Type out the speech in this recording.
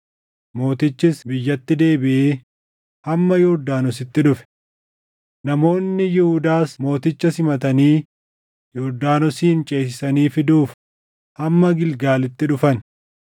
Mootichis biyyatti deebiʼee hamma Yordaanositti dhufe. Namoonni Yihuudaas mooticha simatanii Yordaanosin ceesisanii fiduuf hamma Gilgaalitti dhufan.